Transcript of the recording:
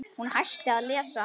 Hún hætti að lesa.